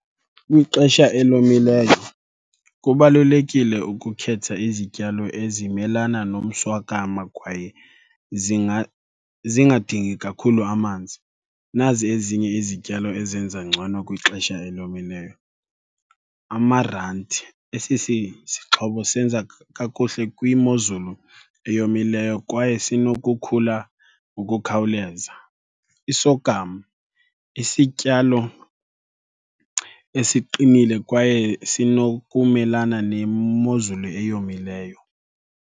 Kwixesha elomileyo kubalulekile ukukhetha izityalo ezimelana nomswakama kwaye zingadingi kakhulu amanzi. Nazi ezinye izityalo ezenza ngcono kwixesha elomileyo. Amaranti, esi sixhobo senza kakuhle kwimozulu eyomileyo kwaye sinokukhula ngokukhawuleza. I-sorghum, isityalo esiqinile kwaye sinokumelana nemozulu eyomileyo.